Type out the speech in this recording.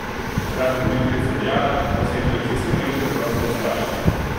Takrat je voditeljica dejala, da se je televizijska mreža preprosto ustrašila.